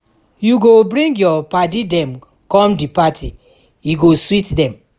you go bring your paddy dem come di party e go sweet dem